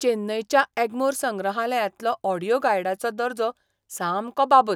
चेन्नयच्या एग्मोर संग्रहालयांतलो ऑडियो गायडाचो दर्जो सामको बाबत.